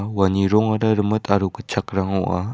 uani rongara rimit aro gitchakrang ong·a.